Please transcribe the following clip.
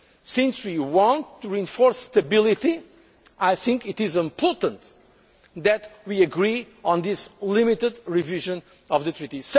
since we want to reinforce stability, I think it is important that we agree on this limited revision of the Treaty.